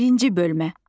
Birinci bölmə.